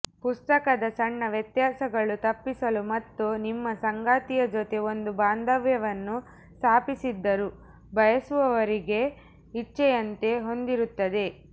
ಪುಸ್ತಕದ ಸಣ್ಣ ವ್ಯತ್ಯಾಸಗಳು ತಪ್ಪಿಸಲು ಮತ್ತು ನಿಮ್ಮ ಸಂಗಾತಿಯ ಜೊತೆ ಒಂದು ಬಾಂಧವ್ಯವನ್ನು ಸ್ಥಾಪಿಸಿದ್ದರು ಬಯಸುವವರಿಗೆ ಇಚ್ಛೆಯಂತೆ ಹೊಂದಿರುತ್ತದೆ